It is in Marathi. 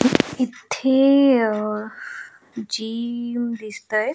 इथे अ जीव दिसतय.